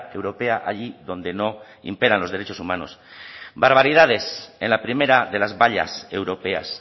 europea allí donde no imperan los derechos humanos barbaridades en la primera de las vallas europeas